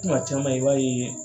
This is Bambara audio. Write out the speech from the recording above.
Kuma caman i b'a ye